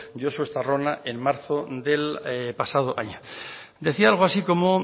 josu estarrona en marzo del pasado año decía algo así como